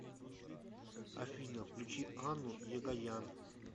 афина включи анну егоян